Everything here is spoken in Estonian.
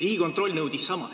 Riigikontroll nõudis sama.